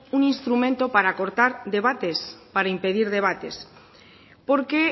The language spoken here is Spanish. un instrumento para cortar debates para impedir debates porque